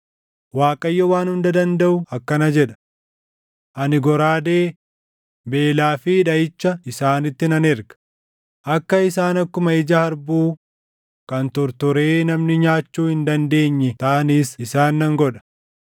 Waaqayyo Waan Hunda Dandaʼu akkana jedha: “Ani goraadee, beelaa fi dhaʼicha isaanitti nan erga; akka isaan akkuma ija harbuu kan tortoree namni nyaachuu hin dandeenyee taʼanis isaan nan godha.